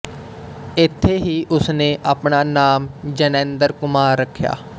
ਇੱਥੇ ਹੀ ਉਸਨੇ ਆਪਣਾ ਨਾਮ ਜੈਨੇਂਦਰ ਕੁਮਾਰ ਰੱਖਿਆ